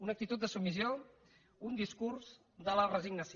una actitud de submissió un discurs de la resignació